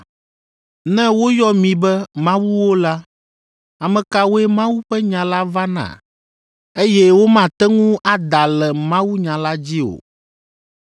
Ne woyɔ mi be ‘mawuwo’ la, ame kawoe Mawu ƒe nya la va na, eye womate ŋu ada le mawunya la dzi o,